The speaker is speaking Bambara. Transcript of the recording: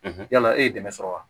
yala e ye dɛmɛ sɔrɔ wa